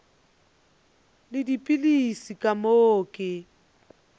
le dipilisi ka moo ke